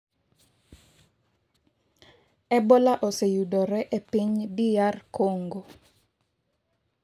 Ebola oseyudore e piny DR Kongo